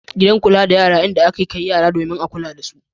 Gidan kula da yara in da a ke kai yara domin a kula da su.